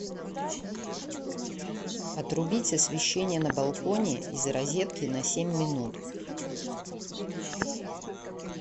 отрубить освещение на балконе из розетки на семь минут